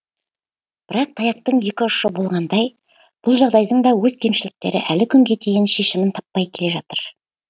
бірақ таяқтың екі ұшы болғандай бұл жағдайдың да өз кемшіліктері әлі күнге дейін шешімін таппай келе жатыр